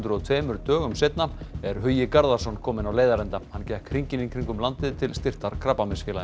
og tveimur dögum seinna er Hugi Garðarsson kominn á leiðarenda hann gekk hringinn í kringum landið til styrktar Krabbameinsfélaginu